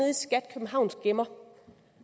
i skat københavns gemmer